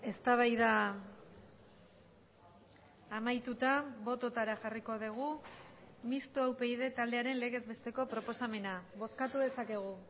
eztabaida amaituta bototara jarriko dugu mistoa upyd taldearen legez besteko proposamena bozkatu dezakegu